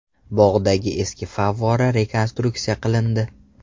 Bog‘dagi eski favvora rekonstruksiya qilindi.